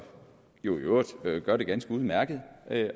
jo i øvrigt gør det ganske udmærket